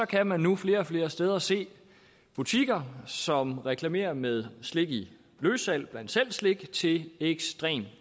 kan man nu flere og flere steder se butikker som reklamerer med slik i løssalg bland selv slik til ekstremt